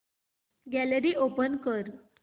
gallery open कर